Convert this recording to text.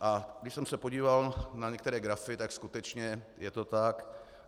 A když jsem se podíval na některé grafy, tak skutečně je to tak.